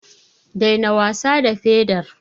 Daina wasa da pedar.